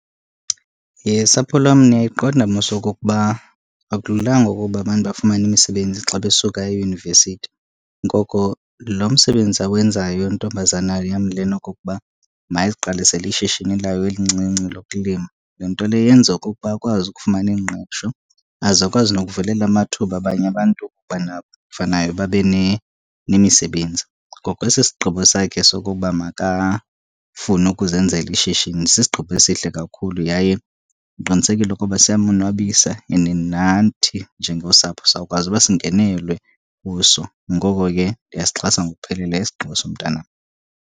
Sapho lwam, niyayiqonda mos okokuba akululanga ukuba abantu bafumane imisebenzi xa besuka eyunivesithi. Ngoko lo msebenzi awenzayo intombazana yam lena okokuba mayiziqalisele ishishini layo elincinci lokulima, loo nto leyo yenza okokuba akwazi ukufumana ingqesho aze akwazi nokuvulela amathuba abanye abantu ukuba nabo babe nemisebenzi. Ngoko esi sigqibo sakhe sokokuba makafune ukuzenzela ishishini sisigqibo esihle kakhulu yaye ndiqinisekile ukuba siyamonwabisa, and nathi njengosapho sawukwazi uba singenelwe kuso. Ngoko ke ndiyasixhasa ngokupheleleyo isigqibo somntanam.